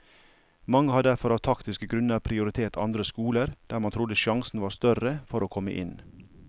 Mange har derfor av taktiske grunner prioritert andre skoler der man trodde sjansen var større for å komme inn.